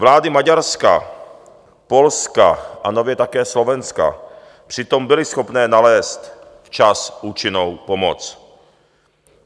Vlády Maďarska, Polska a nově také Slovenska přitom byly schopné nalézt včas účinnou pomoc.